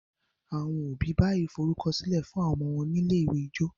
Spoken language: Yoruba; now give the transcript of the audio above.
àwọn òbí bayii forukọsilẹ fún àwọn ọmọ wón ní ilé-ìwé ijó